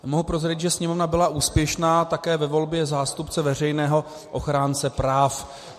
Mohu prozradit, že Sněmovna byla úspěšná také ve volbě zástupce Veřejného ochránce práv.